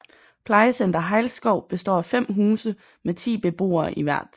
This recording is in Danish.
Plejecenter Hejlskov består af 5 huse med 10 beboere i hvert